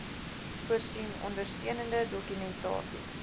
voorsien ondersteunende dokumentasie